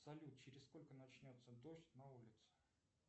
салют через сколько начнется дождь на улице